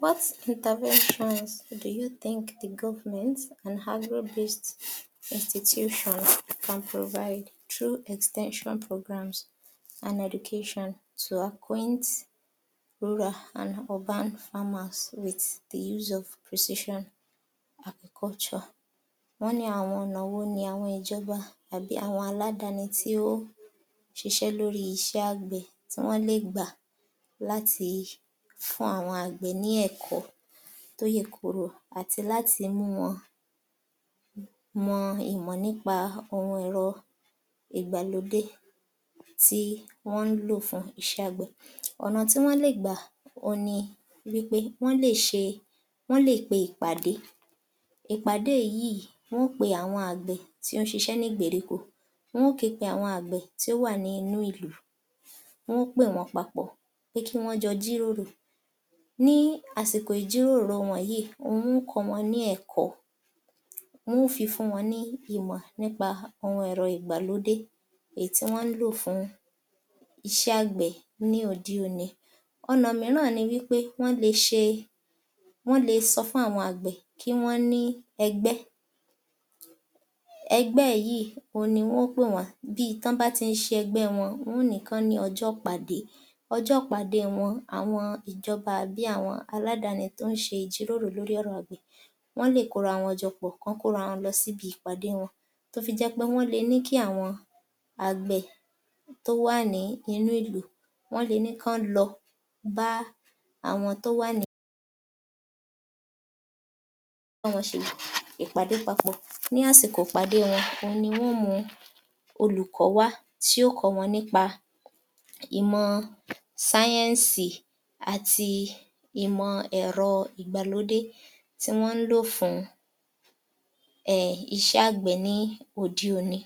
What interventions do you think the government an average institution can provide through extension programs and education to acquaint rural and urban farmers with the use of precision agriculture. wọ́n ní ọ̀nà wo ni àwọn ìjọba àbí àwọn aládáni tó ń ṣiṣé lóri iṣẹ́ àgbẹ̀ tí wọ́n lé gbà láti fun àwọn àgbẹ̀ ní ẹ̀kọ́ ọ́ tọ́ yè kó ro àtí láti mú wọn mò ìmọ̀ nípa oun ẹ̀rọ ìgbàlódé tí wón ń lò fún iṣé àgbẹ̀. ọ̀nà tí wọ́n lé gbà ouń ní nípé wọ́n lè ṣe wọn lé pé é ìpàdé, ìpàdé yíì wọn ó pé àwọn àgbẹ̀ tí ó ṣiṣé ní ìgbèríko wọn ó ò képe àwọn àgbè tí ó ń ṣiṣé ní ìgbèríko wọn ó képe áwọn àgbẹ̀ tí ó wà ní ìnu ìlú wọn ó pè wọ̀n pápọ̀ pé kí wọ́n jọ ọ jírírò.[ca] ní ásìkò ìjírórò wòn yìí wọn ó kọ́ wọn ní ẹ̀kó wọn ó fí fún wọn ní ẹ̀kọ́ nípa àwọn ẹ̀rọ ìgbàlódé èyí tí wọn ń lò fún iṣé àgbé ní òde òní. ọ̀nà mírán ni nípé wọ́n lé ṣe wọ́n lé sọfún àwọn àgbè kí wọ̀n ní ẹhbẹ́ ẹgbẹ yíì òun ni wọn ó pèwá bí tí wọ́n bá tí ṣe ẹgbẹ́ wọn wọn ó nì í kó ó ọjọ́ ìpàdé ọjọ́ wọn o àwọn ìjọba bí àwọn aládàáni tó ń ṣe ìjírórò lóri ọ̀rọ̀ àgbẹ̀ wọ́n lè kó ra wọn jọpò kí wọ́n kóra wọn lo síbi ìpàdé wọn tó fi jé pé wọ́n le ní kí àwọ̀n àgbẹ̀ tó ó wà ní ìlú wọ́n le ní kí wọn lọ bá àwọn to wà ní bá wọn ṣe ipàdé papọ̀ ní àsìkò ipàdé wọn ò wun ni wọ́n ó mù ú olùkó wá tí ò kó wọn nípa ìmò science- sáéǹsì àti ìmọ́ ẹ̀rọ́ ìgbàlódé tí wọn ń ló fún iṣé àgbẹ̀ ní òde òní.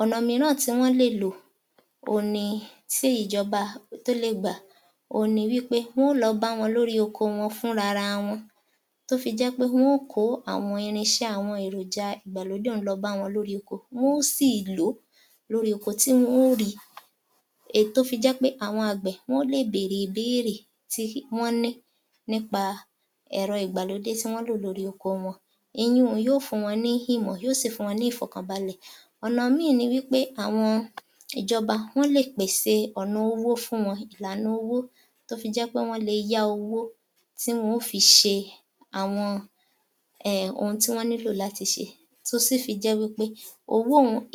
ọ̀nà míràn tí wọ́n lé lò òun ni tí ijọba tó le gbà òun ni nípé wọn ó lọ ọ bá wọn lóri oko wọn fún ra ra wọn tó fi jẹ́ pé wọn ó kòó àwọn irinṣé àwọn èròǹjà ìgbàlódé ọ̀un lọ bá wọn lóri oko wọn ó sì lò ó lórí oko tí wọn ó ri i èyí tó fi jẹ́ pé àwọn àgbẹ̀ wọ̀n ó lè bèèrè ìbéérè tí wọ́n ní nípa ẹ̀rọ ìgbàlódé tí wọn ń lò lóri oko wọn èyí ǹ ú ń ni ó fún wọn ní yíò sì fún wọn ní ìfọ̀kànbalẹ̀. ọ̀na ìmíì ni ní pé àwọn ìjọba wọ́n lè pèṣè ọ̀nà owó fún wọn ìlànà owó tó fi jẹ́ pé wọ́n le yá owó fún wọn ó fi ṣe àwọn oun rí wọn ní lò làti ṣe tó sì fí jé wípé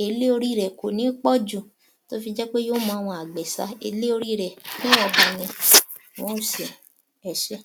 èlé orí rẹ̀ ẹ̀ kò ní pọ̀jù ró fi jẹ́pé yíò mú àwọn àgbẹ̀ sà á èrè orí rè è ní wọ̀ǹba ni ẹṣé